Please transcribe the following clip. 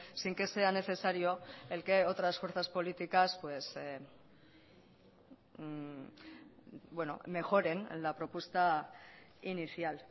sin que sea necesario el que otras fuerzas políticas mejoren la propuesta inicial